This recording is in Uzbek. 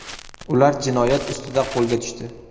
Ular jinoyat ustida qo‘lga tushdi.